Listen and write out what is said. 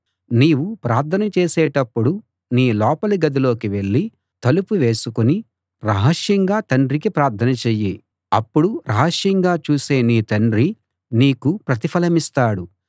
నీవు ప్రార్థన చేసేటప్పుడు నీ లోపలి గదిలోకి వెళ్ళి తలుపు వేసుకుని రహస్యంగా తండ్రికి ప్రార్థన చెయ్యి అప్పుడు రహస్యంగా చూసే నీ తండ్రి నీకు ప్రతిఫలమిస్తాడు